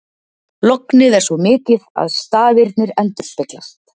Lognið er svo mikið að stafirnir endurspeglast.